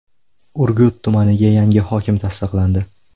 Urgut tumaniga yangi hokim tasdiqlandi.